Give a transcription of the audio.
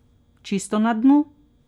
Čisto na dnu?